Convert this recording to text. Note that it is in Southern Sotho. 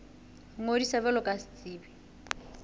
ho ngodisa jwalo ka setsebi